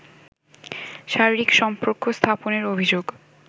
শারীরিক সম্পর্ক স্থাপনের অভিযোগ